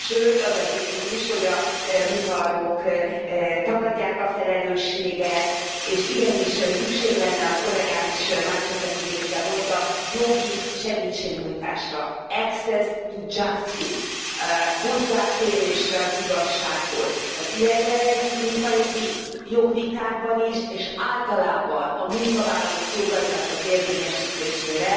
Sőt az a tipikus, hogy a munkaadók tagadják a felelősséget, és igenis szükség lenne ahogy kollégám is más összefüggésben mondta jogi segítségnyújtásra access to justice, hozzáférésre az igazsághoz az ilyen jellegű munkajogi jogvitákban is, és általában a munkavállalók jogainak az érvényesítésére